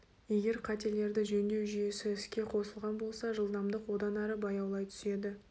егер қателерді жөндеу жүйесі іске қосылған болса жылдамдық одан әрі баяулай түседі